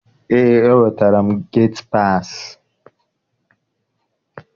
Eé, enwetara m geti paasị.